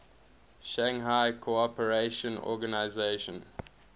shanghai cooperation organization